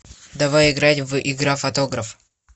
давай играть в игра фотограф